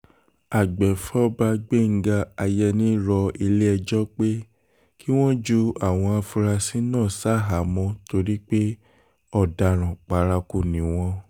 àgbẹ̀fọ́fà gbẹ́ngàn àyẹni rọ ilé-ẹjọ́ pé kí wọ́n ju àwọn afurasí náà ṣaháàmọ̀ torí pé ọ̀daràn paraku ni wọ́n